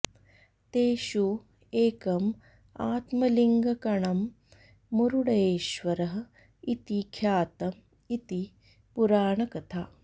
तेषु एकम् आत्मलिङ्गकणं मुरुडेश्वरः इति ख्यातम् इति पुराणकथा